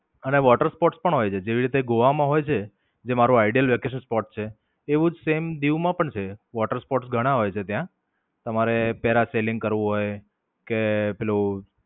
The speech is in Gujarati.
અને Water sports પણ હોય છે જેવી રીતે ગોવા માં હોય છે. જે મારુ the ideal vacation spot છે. એવું જ સેમ દીવ માં પણ છે. water sports ઘણા હોય છે ત્યાં. તમારે parasailing કરવું હોય કે પેલું